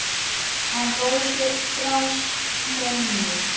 En Rósu brast minnið.